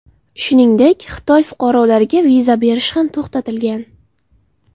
Shuningdek, Xitoy fuqarolariga viza berish ham to‘xtatilgan.